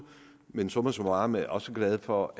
men summa summarum er jeg også glad for